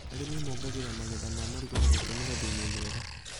Arĩmi mongagĩrĩra magetha ma marigũ na gũtũmĩra thumu mwega